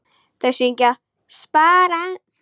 Þau syngja: SPARA!